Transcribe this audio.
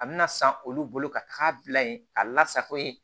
A bɛna san olu bolo ka taa bila yen k'a lasako ye